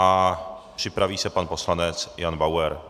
A připraví se pan poslanec Jan Bauer.